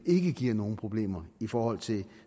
ikke giver nogen problemer i forhold til